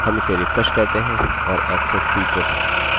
अब मैंने एक नया वेरिएबल सेट किया है ऐक्सेस स्वीकर होगा